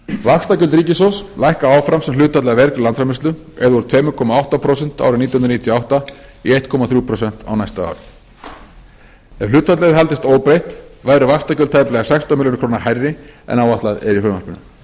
vaxtagjöld ríkissjóðs lækka áfram sem hlutfall af vergri landsframleiðslu eða úr tveimur komma átta prósent árið nítján hundruð níutíu og átta í eitt komma þrjú prósent á næsta ári ef hlutfallið hefði haldist óbreytt væru vaxtagjöld tæplega sextán milljörðum króna hærri en áætlað er í frumvarpinu